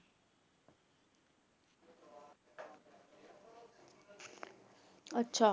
ਅੱਛਾ।